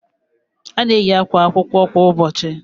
A na eyi àkwà akwụkwọ kwa ụbọchị